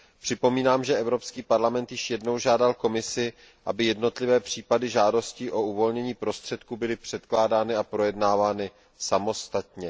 Připomínám, že Evropský parlament již jednou žádal Komisi, aby jednotlivé případy žádostí o uvolnění prostředků byly předkládány a projednávány samostatně.